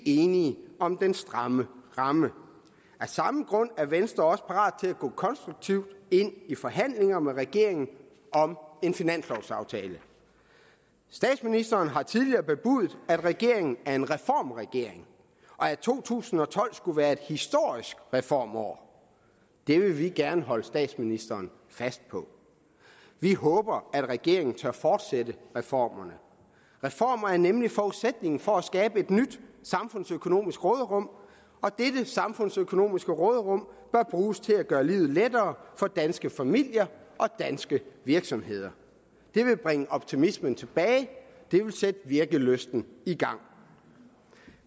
enige om den stramme ramme af samme grund er venstre parat til at gå konstruktivt ind i forhandlinger med regeringen om en finanslovaftale statsministeren har tidligere bebudet at regeringen er en reformregering og at to tusind og tolv skulle være et historisk reformår det vil vi gerne holde statsministeren fast på vi håber at regeringen tør fortsætte reformerne reformer er nemlig forudsætningen for at skabe et nyt samfundsøkonomisk råderum og dette samfundsøkonomiske råderum bør bruges til at gøre livet lettere for danske familier og danske virksomheder det vil bringe optimismen tilbage det vil sætte virkelysten i gang